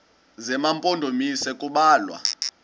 zema mpondomise kubalwa